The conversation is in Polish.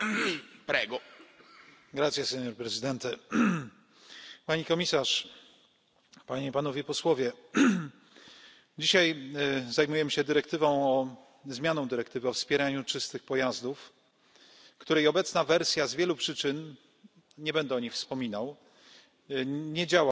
Panie Przewodniczący! Pani Komisarz! Panie i Panowie Posłowie! Dzisiaj zajmujemy się zmianą dyrektywy o wspieraniu czystych pojazdów, której obecna wersja z wielu przyczyn nie będę o nich wspominał nie działa tak, jakbyśmy tego oczekiwali.